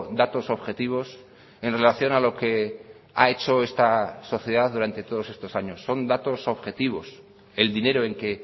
datos objetivos en relación a lo que ha hecho esta sociedad durante todos estos años son datos objetivos el dinero en qué